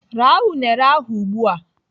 Raa unere ahụ ugbu a!